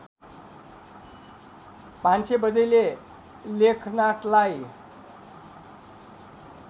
भान्सेबज्यैले लेखनाथलाई